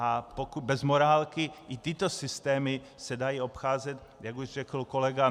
A bez morálky i tyto systémy se dají obcházet, jak už řekl kolega.